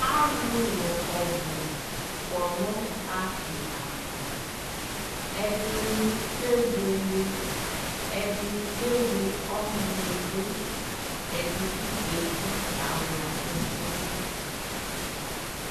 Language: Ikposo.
Alʋlʋ ɔbʋ kɔ nʋ paki ava Ɛdini kebʋele, ɛdi kewle ɔnʋ ni dʋ, ɛdi bi zati kawla ɛsɛ dʋ